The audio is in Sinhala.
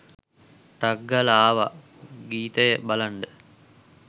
ටක් ගාලා ආවා ගීතය බලන්ඩ